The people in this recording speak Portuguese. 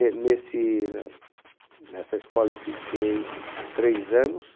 E nesse ne nessa escola eu fiquei três anos.